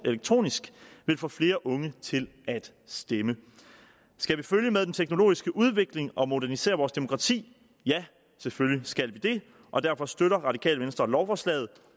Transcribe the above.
elektronisk vil få flere unge til at stemme skal vi følge med den teknologiske udvikling og modernisere vores demokrati ja selvfølgelig skal vi det og derfor støtter radikale venstre lovforslaget